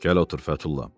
Gəl otur Fətulla.